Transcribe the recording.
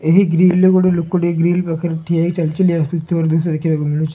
ଏହି ଗ୍ରିଲେ ଗୋଟେ ଲୋକ ଟେ ଗ୍ରିଲ ପାଖରେ ଠିଆ ହେଇ ଚାଲ୍ ଚାଲ୍ ଆସୁଥିବାରୁ ଦ୍ରୁଶ୍ୟ ଦେଖିବାକୁ ମିଳୁଚି ।